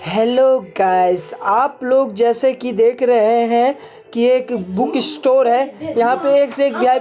Hello guys आप लोग जैसे के देख रहे हैं। एक बुक स्टोर है। यहाँ पे एक से एक --